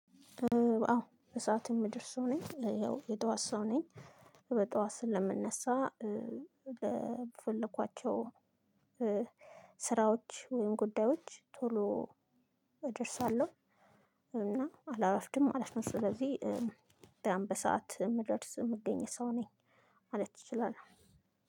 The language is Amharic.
አዎ በሰአቱ የምደርስ ሰው ነኝ ያው የጧት ሰው ነኝ። በጧት ስለምነሳ። በፈለኳቸው ስራዎች ወይም ጉዳዮች ቶሎ እደርሳለሁ። እና አላረፍድም። ስለዚህ በሰአት የምደርስ የምገኘው ሰው ነኝ። ማለት እችላለሁ።